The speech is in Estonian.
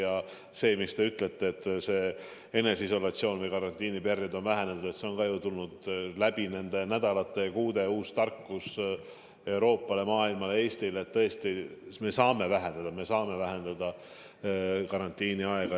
Ja see, mis te ütlete, et eneseisolatsioon või karantiiniperiood on vähenenud – see on ka ju tulnud läbi nende nädalate ja kuude uue tarkusena Euroopale, maailmale, Eestile, et tõesti, me saame karantiiniaega vähendada.